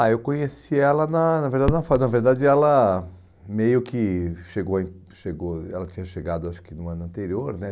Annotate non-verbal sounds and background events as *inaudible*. Ah, eu conheci ela na na verdade, *unintelligible* na verdade ela meio que chegou em, chegou, ela tinha chegado acho que no ano anterior, né?